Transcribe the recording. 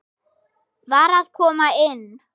VAR AÐ KOMA INN!